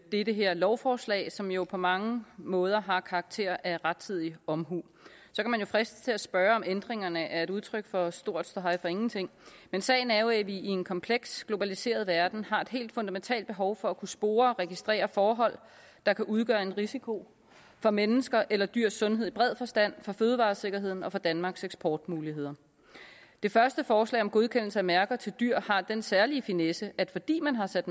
i det her lovforslag som jo på mange måder har karakter af rettidig omhu så kan man jo fristes til at spørge om ændringerne er et udtryk for stor ståhej for ingenting men sagen er jo at vi i en kompleks globaliseret verden har et helt fundamentalt behov for at kunne spore og registrere forhold der kan udgøre en risiko for menneskers eller dyrs sundhed i bred forstand for fødevaresikkerheden og for danmarks eksportmuligheder det første forslag om godkendelse af mærker til dyr har den særlige finesse at fordi man har sat